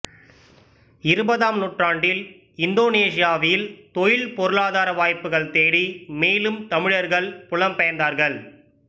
இருபதாம் நூற்றாண்டில் இந்தோனேசியாவில் தொழில் பொருளாதார வாய்ப்புகள் தேடி மேலும் தமிழர்கள் புலம்பெயர்ந்தார்கள்